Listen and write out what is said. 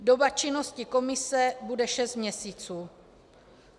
Doba činnosti komise bude 6 měsíců.